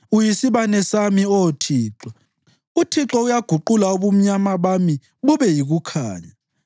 Uyisibane sami, Oh Thixo, uThixo uguqula ubumnyama bami bube yikukhanya.